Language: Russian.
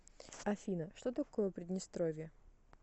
афина что такое приднестровье